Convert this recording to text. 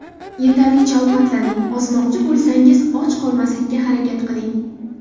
Yetarlicha ovqatlaning Ozmoqchi bo‘lsangiz, och qolmaslikka harakat qiling.